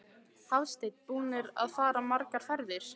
Hafsteinn: Búnir að fara margar ferðir?